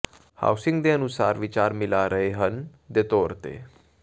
housing ਦੇ ਅਨੁਸਾਰ ਵਿਚਾਰ ਮਿਲਾ ਰਹੇ ਹਨ ਦੇ ਤੌਰ ਤੇ